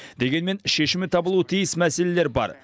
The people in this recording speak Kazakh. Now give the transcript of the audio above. дегенмен шешімі табылуы тиіс мәселелер бар